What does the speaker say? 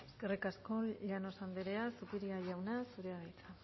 eskerrik asko llanos andrea zupiria jauna zurea da hitza